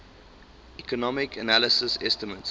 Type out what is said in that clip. economic analysis estimates